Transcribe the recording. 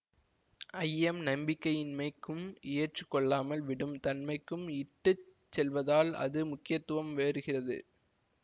ஐயம் நம்பிக்கையின்மைக்கும் எற்றுக்கொள்ளாமல் விடும் தன்மைக்கும் இட்டு செல்வதால் அது முக்கியத்துவம் வேறுகிறது